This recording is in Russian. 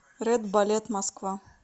ред балет москва